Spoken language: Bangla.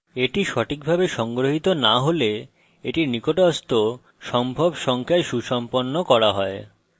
এটি সঠিকভাবে সংগ্রহিত না হলে এটি নিকটস্থ সম্ভব সংখ্যায় সুসম্পন্ন করা হয়